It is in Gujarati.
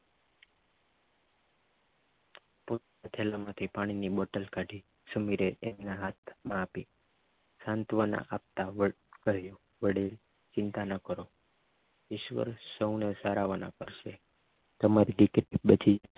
થેલામાંથી પાણીની બોટલ કાઢીને સુમીર તેના હાથમાં આપી સાંત્વન આપતા વડે ચિંતા ના કરો ઈશ્વર સૌને સારાવાના કરશે તમારી દીકરીની બધી